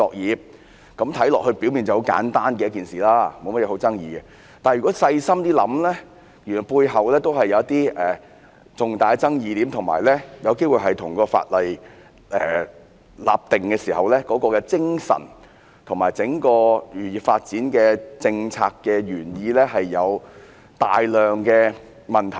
是次修例表面看起來是一件很簡單的事，沒有太大爭議；但如果細心想想，原來背後還是有一些重大的爭議點，而且有機會令《漁業保護條例》的立法精神及整個漁業發展政策的原意出現大量問題。